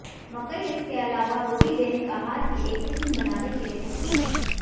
मकई इसके अलावा रोटी दैनिक आहार की एक किस्म बनाने के लिए सक्षम है